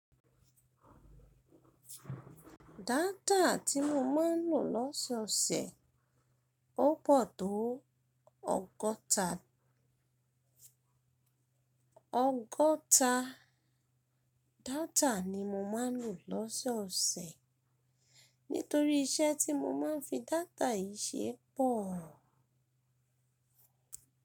Data tí mo máa ń lò lọ́sọ̀ọ̀sẹ̀ ó pọ̀ tó ọgọ́ta. Ọgọ́ta data ni mo máa ń lò lọ́sọ̀ọ̀sẹ̀ nítorí iṣẹ́ tí mo máa ń fi data yìí ṣe pọ̀.